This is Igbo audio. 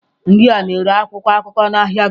Ndị a na-ere akwụkwọ akụkọ n'ụlọ ahịa gị.